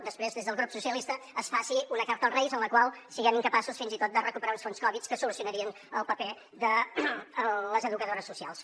després des del grup socialistes es faci una carta als reis en la qual siguem incapaços fins i tot de recuperar uns fons covid que solucionarien el paper de les educadores socials